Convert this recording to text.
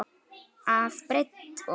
að breidd ofan.